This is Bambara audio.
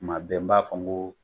Kuma bɛɛ n b'a fɔ n go